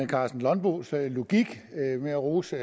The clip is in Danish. karsten nonbos logik med at rose